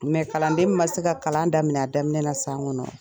kalanden min ma se ka kalan daminɛ a daminɛ na san kɔnɔ